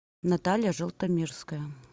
наталья желтомирская